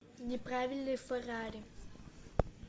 неправильный феррари